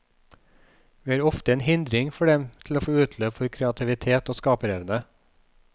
Vi er ofte en hindring for dem til å få utløp for kreativitet og skaperevne.